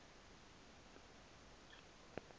umntu ma kathi